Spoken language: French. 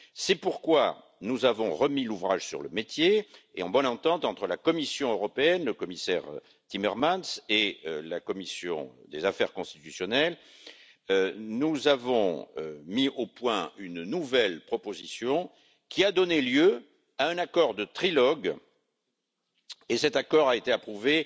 C'est pourquoi nous avons remis l'ouvrage sur le métier et, en bonne entente entre la Commission européenne, le commissaire Timmermans, et la commission des affaires constitutionnelles, nous avons mis au point une nouvelle proposition, qui a donné lieu à un accord de trilogue, et cet accord a été approuvé